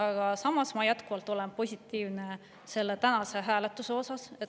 Aga samas ma olen jätkuvalt positiivne tänase hääletuse suhtes.